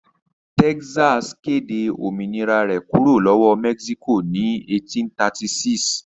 Texas kéde òmìnira rẹ̀ kúrò lọ́wọ́ Mexico ní 1836.